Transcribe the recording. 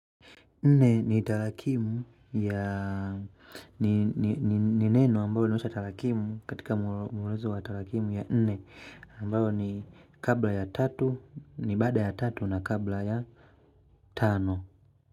Nne ni tarakimu ya ni neno ambayo linaonyesha tarakimu katika mwelezo wa tarakimu ya nne ambayo ni kabla ya tatu ni baada ya tatu na kabla ya tano.